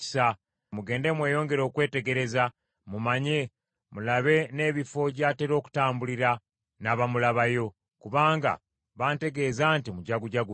Mugende mweyongere okwetegereza, mumanye, mulabe n’ebifo gy’atera okutambulira, n’abamulabayo, kubanga bantegeeza nti mujagujagu nnyo.